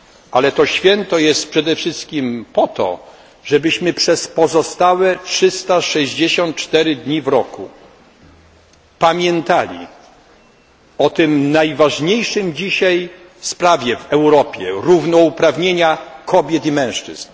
Ale to święto jest przede wszystkim po to, żebyśmy przez pozostałe 364 dni w roku pamiętali o tej najważniejszej dzisiaj sprawie w Europie, równouprawnieniu kobiet i mężczyzn.